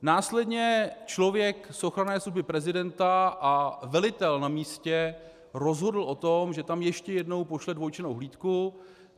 Následně člověk z ochranné služby prezidenta a velitel na místě rozhodl o tom, že tam ještě jednou pošle dvojčlennou hlídku.